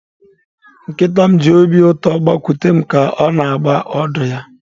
Nkịta m ji obi ụtọ gbakute m, ka ọ na-agba ọdụ ya.